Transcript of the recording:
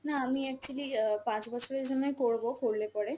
না আমি actually অ্যাঁ পাঁচ বছরের জন্যে করব করলে পরে।